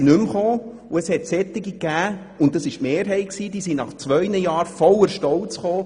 Es gab aber solche – und das war die Mehrheit –, die nach zwei Jahren voller Stolz wiederkamen.